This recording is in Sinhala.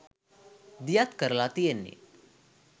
දියත් කරලා තියෙන්නේ.